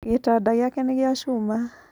Gĩtanda gĩake nĩ gĩa cuma